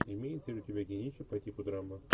имеется ли у тебя кинище по типу драмы